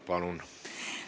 Palun!